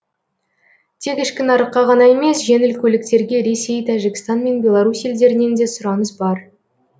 тек ішкі нарыққа ғана емес жеңіл көліктерге ресей тәжікстан мен белорусь елдерінен де сұраныс бар